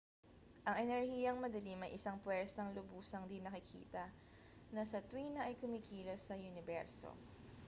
ang enerhiyang madilim ay isang pwersang lubusang di-nakikita na sa tuwina ay kumikilos sa uniberso